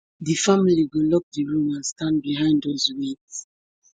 di family go lock di room and stand behind us wit